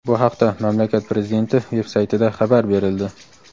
Bu haqda mamlakat Prezidenti veb-saytida xabar berildi.